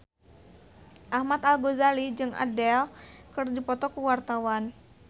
Ahmad Al-Ghazali jeung Adele keur dipoto ku wartawan